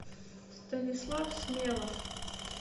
станислав смелов